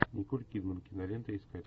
николь кидман кинолента искать